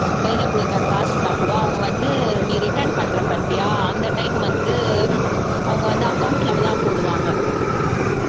கையில குடுக்கற காசுன்னாக்கூட அவங்க வந்து நீ return பண்ற பாத்தியா அந்த time வந்து அவங்க வந்து account ல தான் போடுவாங்க